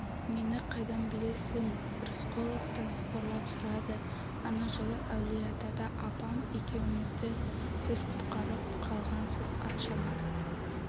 мені қайдан білесің рысқұлов та сыбырлап сұрады ана жылы әулиеатада апам екеумізді сіз құтқарып қалғансыз атшабар